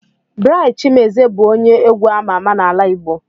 Bright Chimezie bụ onye egwu amà amà n'ala Igbo.